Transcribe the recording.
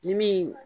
Ni min